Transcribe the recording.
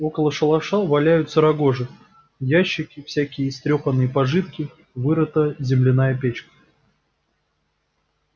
около шалаша валяются рогожи ящики всякие истрёпанные пожитки вырыта земляная печь